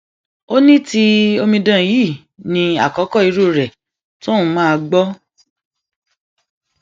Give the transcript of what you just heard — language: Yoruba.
ó ní ti omidan yìí ní àkọkọ irú rẹ tóun máa gbọ